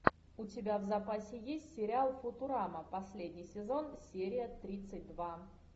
у тебя в запасе есть сериал футурама последний сезон серия тридцать два